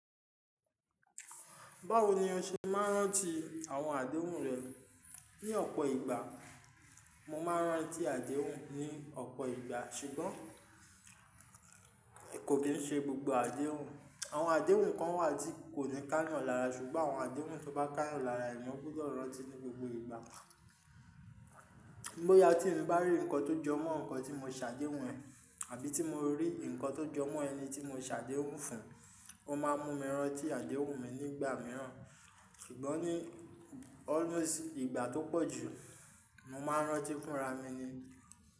Báwo ni o ṣe máa ń rántí àwọn àdéhùn rẹ? Ni ọ̀pọ̀ ìgbà mo máa ń rántí àdéhùn ní ọ̀pọ̀ ìgbà ṣùgbọ́n kò kín n ṣe gbogbo àdéhùn. Àwọn àdéhùn kan wà tí kò ní ká'yàn lára ṣùgbọ́n àwọn àdéhùn tó bá ká'yan lára èèyàn gbúdọ̀ rántí ní gbogbo ìgbà. Bóyá tí mo bá rí nǹkan tó jọmọ́ nǹkan tí mo ṣàdéhùn ẹ̀, àbí tí mo rí nǹkan tó jọmọ́ ẹni tí mo ṣàdéhùn fún, o máa mú mi rántí àdéhùn mi nígbà mìíràn, ṣùgbọ́n ní always ìgbà tó pọ̀ jù, mo máa ń rántí fúnra mi ni.